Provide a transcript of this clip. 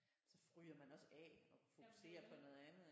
Så ryger man også af og fokuserer på noget andet ik